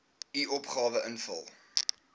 u opgawe invul